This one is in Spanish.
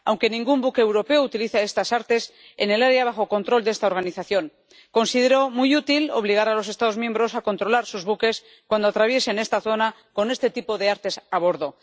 Aunque ningún buque europeo utiliza estas artes en el área bajo control de esta organización, considero muy útil obligar a los Estados miembros a controlar sus buques cuando atraviesen esta zona con este tipo de artes a bordo.